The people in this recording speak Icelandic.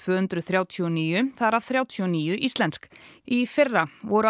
hundruð þrjátíu og níu þar af þrjátíu og níu íslensk í fyrra voru